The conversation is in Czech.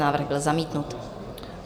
Návrh byl zamítnut.